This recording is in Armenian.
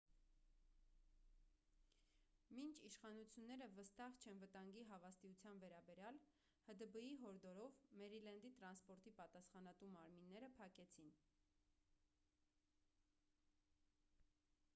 մինչ իշխանությունները վստահ չեն վտանգի հավաստիության վերաբերյալ հդբ-ի հորդորով մերիլենդի տրանսպորտի պատասխանատու մարմինները փակեցին